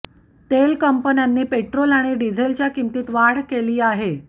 तेल कंपन्यांनी पेट्रोल आणि डिझेलच्या किंमतीत वाढ केली आहे